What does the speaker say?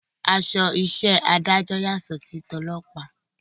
Aṣọ iṣẹ́ adájọ́ yàtọ̀ sí ti ọlọ́pàá